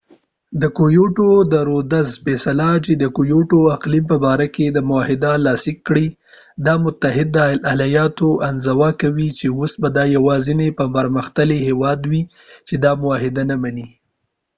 د رودز فیصله چې د کېوټو kyotoد اقلیم په باره کې معاهده لاسلیک کړي، دا متحده ایالات انزوا کوي چې او س به دا یواځنی پرمختللی هیواد وي چې دا معاهده نه منی